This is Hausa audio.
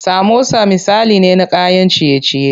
Samosa misali ne na kayan ciye ciye.